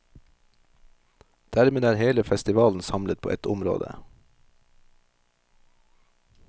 Dermed er hele festivalen samlet på ett område.